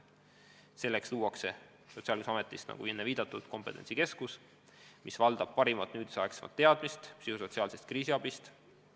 Selleks luuakse Sotsiaalkindlustusametis, nagu enne viidatud, kompetentsikeskus, kuhu on koondunud tänapäeva parimad teadmised psühhosotsiaalsest kriisiabist.